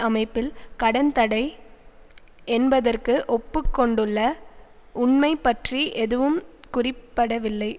அமைப்பில் கடன் தடை என்பதற்கு ஒப்புக்கொண்டுள்ள உண்மை பற்றி எதுவும் குறிப்படவில்லை